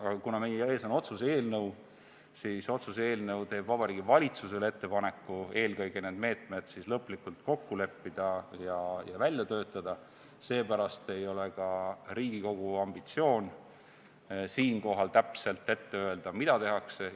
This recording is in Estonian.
Aga kuna meie ees on otsuse eelnõu, mis teeb Vabariigi Valitsusele ettepaneku eelkõige need meetmed lõplikult kokku leppida ja välja töötada, seepärast ei ole ka Riigikogu ambitsioon siinkohal täpselt ette öelda, mida tehakse.